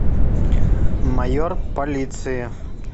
майор полиции